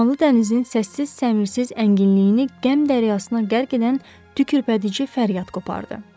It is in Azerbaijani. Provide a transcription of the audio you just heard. Dumanlı dənizin səssiz-səmirsiz ənginliyini qəm dəryasına qərq edən tükürpədici fəryad qopardı.